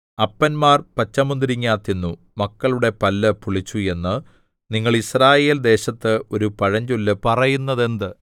അപ്പന്മാർ പച്ചമുന്തിരിങ്ങാ തിന്നു മക്കളുടെ പല്ലു പുളിച്ചു എന്ന് നിങ്ങൾ യിസ്രായേൽ ദേശത്ത് ഒരു പഴഞ്ചൊല്ല് പറയുന്നത് എന്ത്